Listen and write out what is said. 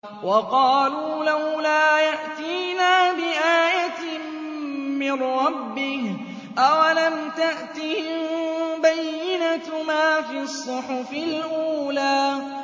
وَقَالُوا لَوْلَا يَأْتِينَا بِآيَةٍ مِّن رَّبِّهِ ۚ أَوَلَمْ تَأْتِهِم بَيِّنَةُ مَا فِي الصُّحُفِ الْأُولَىٰ